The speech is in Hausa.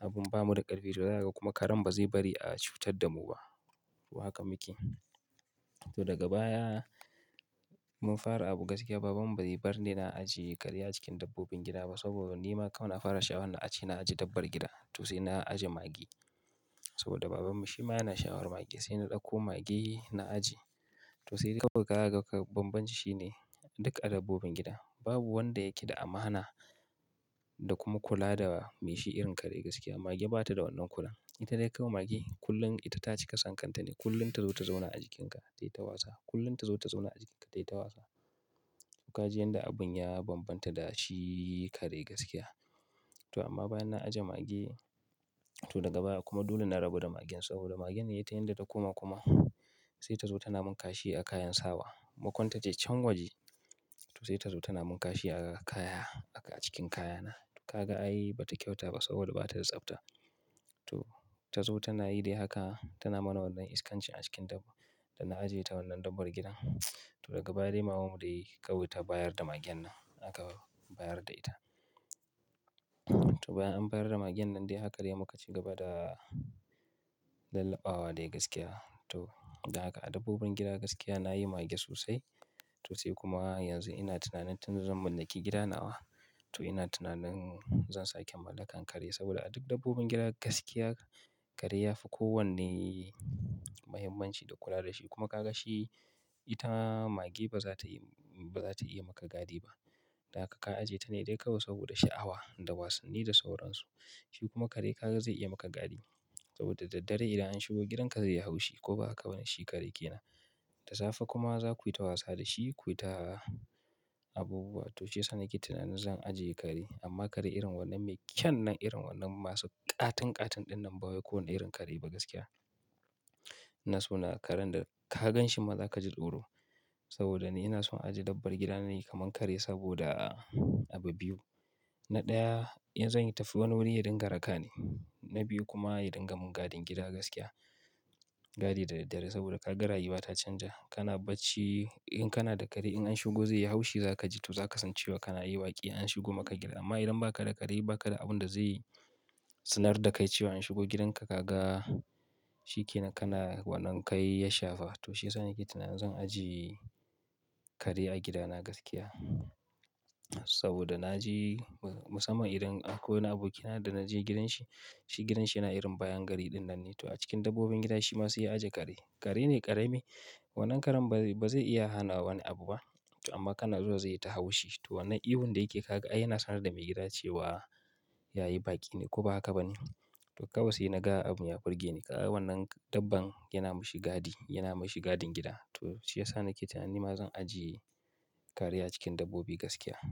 abun ba mu da ƙarfi to za ka kuma karen ba zai bari a cutar da mu ba. To haka muke. To daga baya mun fara abu gaskiya baban mu bai barni na ajiye kare a cikin dabbobin gida ba saboda ni ma kawai na fara sha'awar na ajiye, na ajiye dabbar gida. To sai na ajiye mage, saboda baban mu shi ma yana sha'awar mage sai na ɗauko mage na ajiye. To sai kawai ka ga banbanci shine duka a dabbobin gida babu wanda yake da amana da kuma kula da mai shi irin kare gaskiya. Mage ba ta da wannan kula. Ita dai kawai mage kullum ita taci kasan kanta ne. Kullum ta zo ta zauna a jikinka tai ta wasa. Kullum ta zo ta zauna a jikinka tai ta wasa, Kaji yanda abun ya banbanta da shi kare gaskiya. To amma bayan na ajiye mage to daga baya kuma dole na rabu da magen saboda magen ne ita yadda ta koma kuma sai ta zo tana mun kashi a kayan sawa. Makon taje can waje, to sai ta zo tana mun kashi a kaya, haka acikin kayana. Ka ga ai ba ta kyauta ba saboda ba ta da tsafta. To tazo tana yi dai haka, tana mana wannan iskanci a cikin dab-da na ajiye ta wannan dabbar gida. To daga baya dai maman mu dai kawai ta bayar da magen nan aka bayar da ita. To bayan an bayar da magen nan dai haka dai muka ci gaba da lallaɓawa dai gaskiya. To dan haka a dabbobin gida gaskiya na yi mage sosai. To sai kuma yanzu ina tunanin tun zan mallaki gida nawa. To ina tunanin zan sake mallakar kare saboda a duk dabbobin gida gaskiya kare ya fi kowanne muhimmanci da kula da shi. Kuma ka ga shi ita mage ba za ta yi, ba za ta iya maka gadi ba. Dan haka ka ajiye ta ne dai kawai saboda sha'awa da wasanni da sauransu. Shi kuma kare ka ga zai iya maka gadi saboda da dare idan an shigo gidan ka zaiyi haushi ko ba haka bane shi kare kenan. Da safe kuma za ku yi ta wasa da shi, ku yi ta abubuwa. To shiyasa nake tunanin zan ajiye kare amma kare irin wannan mai kyan nan irin wannan masu ƙaton ƙaton ɗin nan ba wai kowane irin kare ba gaskiya. Ina so na karen da ka gan shi ma za ka ji tsoro saboda ni ina son ajiye dabbar gida nayi kamar kare saboda abu biyu. Na ɗaya, in zan yi tafi wani wuri ya dinga raka ni. Na biyu kuma ya dinga mun gadin gida gaskiya. Gadi da daddare saboda ka ga rayuwa ta canja. Kana bacci in kana da kare in an shigo zai yi haushi za ka ji. To za ka san cewa kana yi baki in an shigo maka gida. Amma idan ba ka da kare ba ka da abun da zai sanar da kai cewa an shigo gidanka ka ga shi kenan kana wannan kai ya shafa. To shiyasa nake tunanin zan ajiye kare a gida na gaskiya. Saboda naje musamman idan akwai wani abokina da na je gidanshi, shi gidanshi yana irin bayan gari ɗin nan ne. To a cikin dabbobin gida shi ma sau ya ajje kare. Kare ne ƙarami. Wannan karen ba zai iya hana wani abu ba. To amma kana zuwa zai yi ta haushi. To wannan ihu da yake ka ga ai yana sanar da mai gida cewa ya yi baki ne ko ba haka ba ne. To kawai sai na ga abun ya burge ni. Ka ga wannan dabban yana mashi gadi, yana mashi gadin gida. To shiyasa nake tunanin nima zan ajiye kare a cikin dabbobi gaskiya.